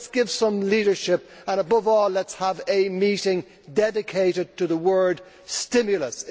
Let us give some leadership and, above all, let us have a meeting dedicated to the word stimulus.